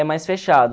é mais fechado.